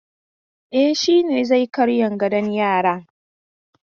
E, shi ne zai karyan gadon yaran.